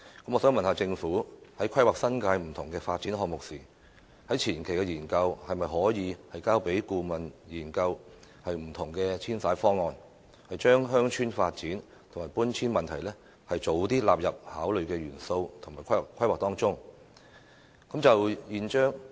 我想問政府，在規劃新界不同發展項目的前期研究中，當局可否交由顧問研究不同的遷徙方案，將鄉村發展和搬遷問題盡早納入為規劃的考慮元素？